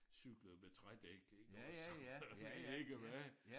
Cyklede med trædæk ikke også og jeg ved ikke hvad